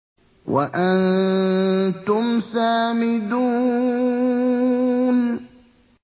وَأَنتُمْ سَامِدُونَ